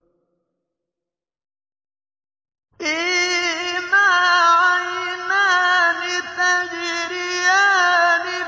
فِيهِمَا عَيْنَانِ تَجْرِيَانِ